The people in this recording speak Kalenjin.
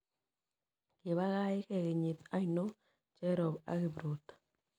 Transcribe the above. Gyii pagai gee kenyit ainon cherop ak kipruto